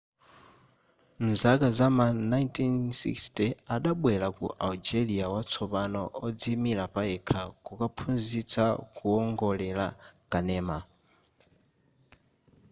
muzaka zam'ma 1960 adabwelera ku algeria watsopano odziimira payekha kukaphunzitsa kuwongolera kanema